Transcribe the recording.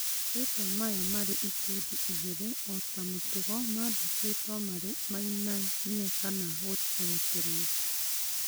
Marĩtwa maya marĩ ikundi igĩrĩ, ota mũtugo mandikwagwo marĩ mainamie kana gũkurĩtrwo